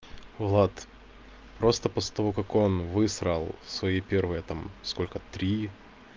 влад просто после того как он высрал свои первые там сколько три